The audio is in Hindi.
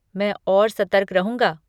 मैं और सतर्क रहूंगा।